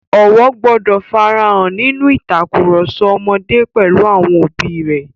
Ọ̀wọ̀ gbọdọ̀ fara hàn nínú ìtakùrọ̀sọ ọmọdé pẹ̀lú àwọn òbí rẹ̀.